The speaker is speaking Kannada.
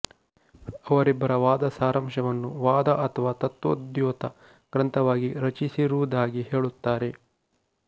ಅವರಿಬ್ಬರ ವಾದ ಸಾರಾಂಶವನ್ನು ವಾದ ಅಥವಾ ತತ್ವೋದ್ಯೋತ ಗ್ರಂಥವಾಗಿ ರಚಿಸಿರುವುದಾಗಿ ಹೇಳುತ್ತಾರೆ